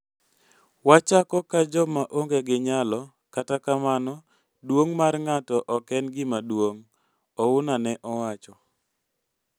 Wachako ka joma onge gi nyalo, kata kamano duong mar ng'ato ok en gima duong'," Ouna ne owacho.